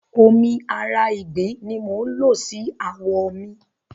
Omi ara ìgbín ni mò ń lò sí àwọ̀ mi.